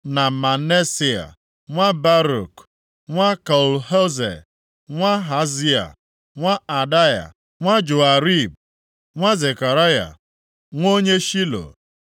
na Maaseia nwa Baruk, nwa Kol-Hoze, nwa Hazaia, nwa Adaya, nwa Joiarib, nwa Zekaraya, nwa onye Shilo. + 11:5 Maọbụ, Shela